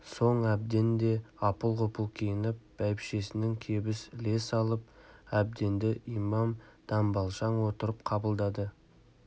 соң әбден де апыл-ғұпыл киініп бәйбішесінің кебіс іле салып әбденді имам дамбалшаң отырып қабылдады